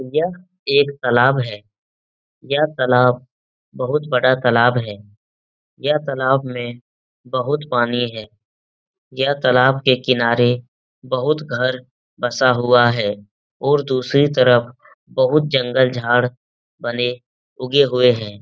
यह एक तालाब है। यह तालाब बहुत बड़ा तालाब है। यह तालाब में बहुत पानी है। यह तालाब के किनारे बहुत घर बसा हुआ है और दूसरी तरफ बहुत जंगल झाड़ बने उगे हुए हैं।